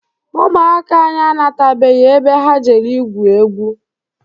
Ụmụaka anyị anatabeghị ebe ha jere igwu egwu.